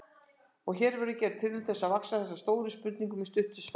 Hér verður gerð tilraun til þess að svara þessari stóru spurningu með stuttu svari.